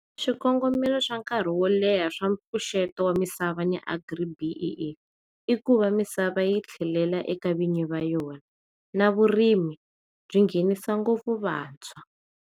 Swikongomelo swa nkarhi wo leha swa mpfuxeto wamisava ni AGRI-B_E_E ikuva misava yi tlhela eka vanyi va yona na vurimi byi nghenisa ngopfu vantshwa.